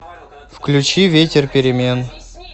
включи ветер перемен